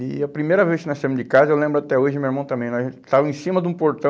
E a primeira vez que nós saímos de casa, eu lembro até hoje, meu irmão também, nós estávamos em cima de um portão,